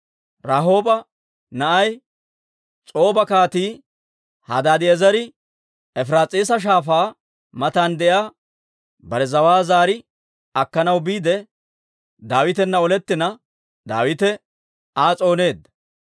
Rahooba na'ay, S'ooba Kaatii Hadaadi'eezere Efiraas'iisa Shaafaa matan de'iyaa bare zawaa zaari akkanaw biide, Daawitana olettina, Daawite Aa s'ooneedda.